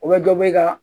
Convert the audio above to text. O bɛ dɔ bɛ ka